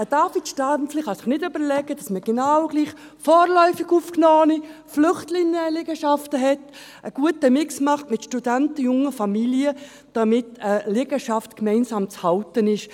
David Stampfli kann sich nicht vorstellen, dass man genau gleich vorläufig Aufgenommene oder Flüchtlinge in einer Liegenschaft hat oder einen guten Mix aus Studenten und jungen Familien, damit eine Liegenschaft gemeinsam zu halten ist.